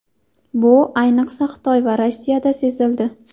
Bu, ayniqsa, Xitoy va Rossiyada sezildi.